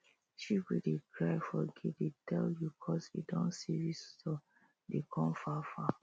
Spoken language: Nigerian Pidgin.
sheep wey dey cry for gate dey tell you coz e don see visitor dey come far far